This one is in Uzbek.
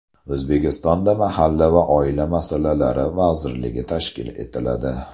O‘zbekistonda Mahalla va oila masalalari vazirligi tashkil etiladi.